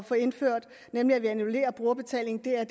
få indført nemlig annullering af brugerbetaling jeg